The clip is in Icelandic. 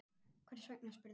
Hvers vegna? spurði hann.